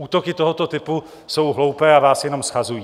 Útoky tohoto typu jsou hloupé a vás jenom shazují.